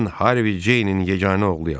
Mən Harvi Ceynin yeganə oğluyam.